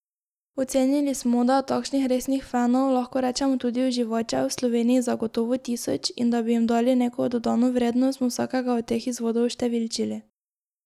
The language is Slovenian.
Ocenili smo, da je takšnih resnih fenov, lahko rečemo tudi uživačev, v Sloveniji zagotovo tisoč, in da bi jim dali neko dodano vrednost, smo vsakega od teh izvodov oštevilčili.